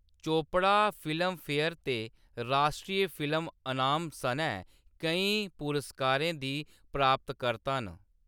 Chopra Filmfare ते राश्ट्री film अनाम सनै केईं पुरस्कारें दी प्राप्तकर्ता न।